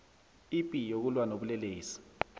ipi yokulwa nobulelesi